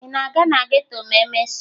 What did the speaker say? Ị na-aga na geto ma emesịa?